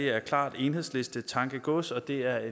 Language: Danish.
er klart enhedslistetankegods og det er